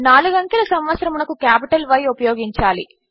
4 అంకెల సంవత్సరమునకు capital Y ఉపయోగించాలి